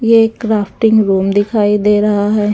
यह एक crafting room दिखाई दे रहा है।